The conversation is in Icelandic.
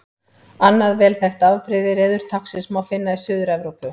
Annað vel þekkt afbrigði reðurtáknsins má finna í Suður-Evrópu.